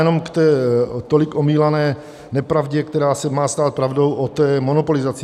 Jenom k té tolik omílané nepravdě, která se má stát pravdou, o té monopolizaci.